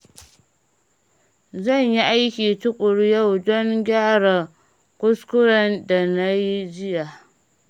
Zan yi aiki tuƙuru yau don gyara kuskuren da na yi jiya.